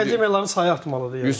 Akademiyaların sayı artmalıdır yəni.